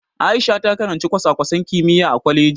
Aisha ta karanci kwasa-kwasan kimiyya a kwaleji.